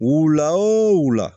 Wula o wula